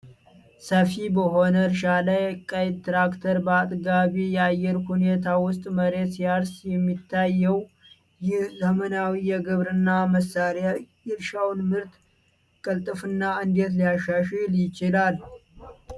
ሰፊ በሆነ እርሻ ላይ ቀይ ትራክተር በአጥጋቢ የአየር ሁኔታ ውስጥ መሬት ሲያርስ የሚታየው፣ ይህ ዘመናዊ የግብርና መሳሪያ የእርሻውን ምርትና ቅልጥፍና እንዴት ሊያሻሽል ይችላል?